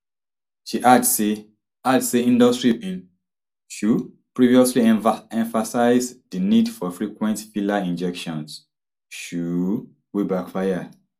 she add say add say industry bin um previously emphasise di need for frequent filler injections um wey backfire